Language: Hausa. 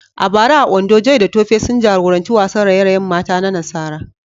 A bara a Ondo, Joy da Tope sun jagoranci wasan raye-rayen mata na nasara.